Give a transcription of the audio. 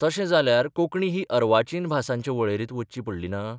तशें जाल्यार कोंकणी ही अर्वाचीन भासांचे वळेरेंत वच्ची पडली ना?